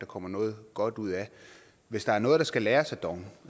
kommer noget godt ud af hvis der er noget der skal læres af dong